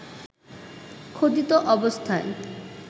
খোদিত অবস্থায়